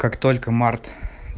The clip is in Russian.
как только март